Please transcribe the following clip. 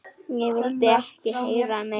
Ég vildi ekki heyra meira.